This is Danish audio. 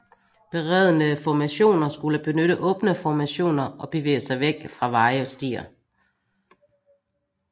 Beredne formationer skulle benytte åbne formationer og bevæge sig væk fra veje og stier